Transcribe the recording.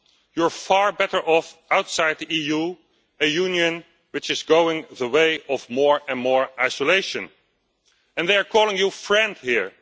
You are far better off outside the EU, a union which is going the way of more and more isolation. They are calling you a friend here.